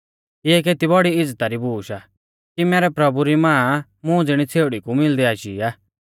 इऐ केती बौड़ी इज़्ज़ता री बूश आ कि मैरै प्रभु री मां मुं ज़िणी छ़ेउड़ी कु मिलदै आशी आ